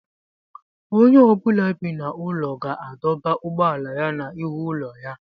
Onye ọ bụla bi n'ụlọ ga-adọba ụgbọala ya n'ihu ụlọ ya.